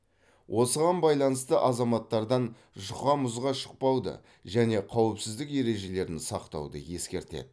осыған байланысты азаматтардан жұқа мұзға шықпауды және қауіпсіздік ережелерін сақтауды ескертеді